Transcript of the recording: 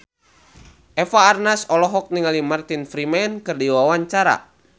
Eva Arnaz olohok ningali Martin Freeman keur diwawancara